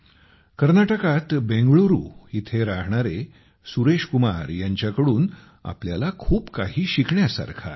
कर्नाटकात बेंगळूरू येथे राहणारे सुरेश कुमार यांच्याकडून आपल्याला खूप काही शिकण्यासारखे आहे